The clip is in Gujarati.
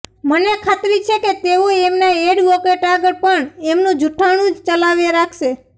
મને ખાતરી છે કે તેઓ એમના ઍડ્વોકેટ આગળ પણ એમનું જુઠ્ઠાણુ જ ચલાવે રાખશે